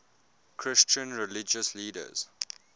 christian religious leaders